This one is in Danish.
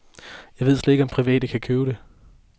Jeg ved slet ikke, om private kan købe det.